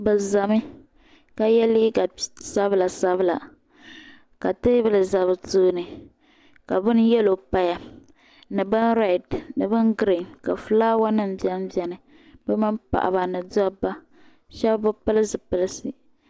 Bi za mi ka yiɛ liiga sabila sabila ka tɛɛbuli za bi tooni ka bini yɛlo paya ni bin rɛd ni bin grin ka flawa nim bɛm bɛni bi mini paɣiba ni dabba shɛb bi pili zipilisi.